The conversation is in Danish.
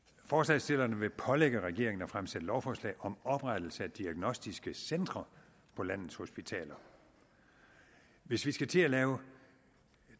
forslagsstillerne vil pålægge regeringen at fremsætte lovforslag om oprettelse af diagnostiske centre på landets hospitaler hvis vi skal til at lave